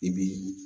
I bi